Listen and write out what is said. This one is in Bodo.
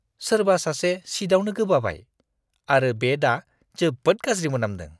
सोरबा सासे सीटआवनो गोबाबाय आरो बे दा जोबोद गाज्रि मोनामदों!